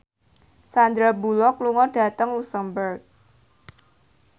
Sandar Bullock lunga dhateng luxemburg